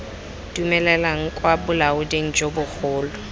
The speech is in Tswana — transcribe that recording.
dumelelwang kwa bolaoding jo bogolo